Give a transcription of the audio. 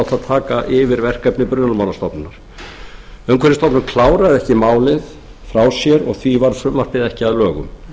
taka yfirverkefni brunamálastofnunar umhverfisstofnun kláraði ekki málið frá sér og því var frumvarpið ekki að lögum